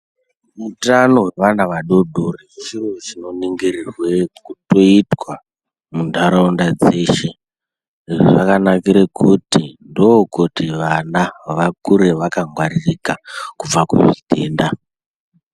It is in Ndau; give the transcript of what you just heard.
Utano wevana vadoodori chiro chinoningirwe kutoitwa mundaraunda dzeshe ende zvakanakire kuti ndookuti vana vakure vaakngwaririka kubva kuzvitenda.